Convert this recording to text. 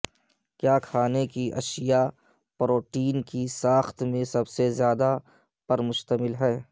کیا کھانے کی اشیاء پروٹین کی ساخت میں سب سے زیادہ پر مشتمل ہے